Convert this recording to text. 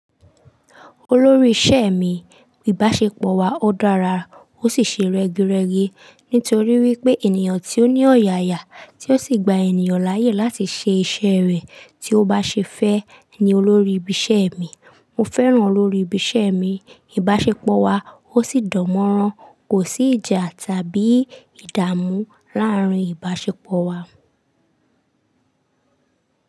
Olórí ìṣe mi, ìbáṣepọ̀ wa ó dára ó sì ṣe rẹ́gí rẹ́gí nítorí wípé ènìyàn tí ó ní ọ̀yàyà tí ó sì gba ènìyàn láyè láti ṣe iṣẹ́ rẹ̀ tí ó bá ṣe fẹ́ ni olórí ibi iṣẹ́ mi. Mo fẹ́ràn olórí ibi iṣẹ́ mi, ìbáṣepọ̀ wa ó sì dánmọ́nrán. Kò sí ìjà tàbí ìdààmú láàárín ìbáṣepọ̀ wa.